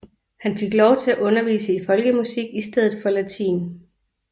Han fik lov til at undervise i folkemusik i stedet for latin